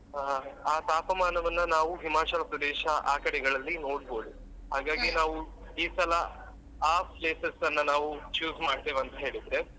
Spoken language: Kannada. ಹಾ ಆ ತಾಪಮಾನವನ್ನ ನಾವು Himachal Pradesh ಆ ಕಡೆಗಳಲ್ಲಿ ನೋಡ್ಬೋದು ಹಾಗಾಗಿ ನಾವು ಈ ಸಲ ಆ places ಅನ್ನ ನಾವು choose ಮಾಡ್ತೇವೆ ಅಂತ್ಹೇಳಿದ್ರೆ.